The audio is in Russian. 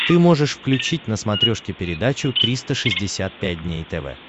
ты можешь включить на смотрешке передачу триста шестьдесят пять дней тв